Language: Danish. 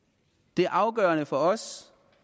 det er afgørende for os